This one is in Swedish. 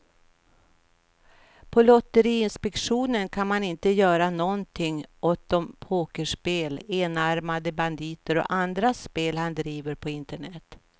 På lotteriinspektionen kan man inte göra någonting åt de pokerspel, enarmade banditer och andra spel han driver på internet.